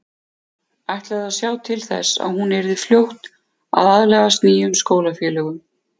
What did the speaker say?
Ætlaði að sjá til þess að hún yrði fljót að aðlagast nýjum skólafélögum.